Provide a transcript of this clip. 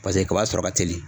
Paseke kaba sɔrɔ ka teli